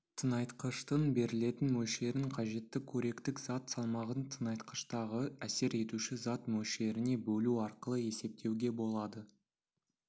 тыңайтқыштың берілетін мөлшерін қажетті қоректік зат салмағын тыңайтқыштағы әсер етуші зат мөлшеріне бөлу арқылы есептеуге болады